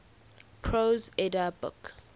prose edda book